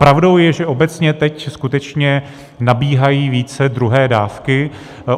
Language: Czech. Pravdou je, že obecně teď skutečně nabíhají více druhé dávky.